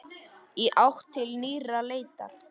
Í átt til nýrrar leitar.